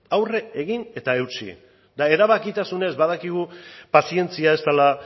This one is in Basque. aurre egin eta eutsi eta erabakitasunez badakigu pazientzia ez dela